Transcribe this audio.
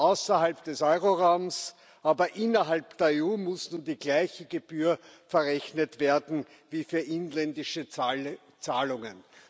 außerhalb des Euroraums, aber innerhalb der EU, muss nun die gleiche Gebühr verrechnet werden wie für inländische Zahlungen.